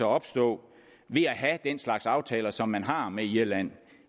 opstå ved at have den slags aftaler som man har med irland